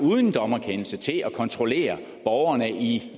uden dommerkendelse til at kontrollere borgerne i